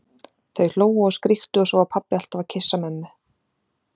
Þau hlógu og skríktu og svo var pabbi alltaf að kyssa mömmu.